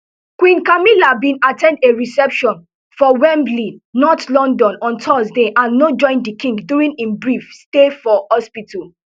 queen camilla bin at ten d a reception for wembley north london on thursday and no join di king during im brief stay for hospital